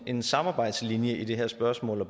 en samarbejdslinje i det her spørgsmål